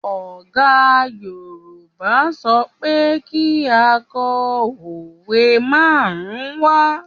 Ọ̀gá Yorùbá sọ pé kí á kọ òwe márùn-ún wá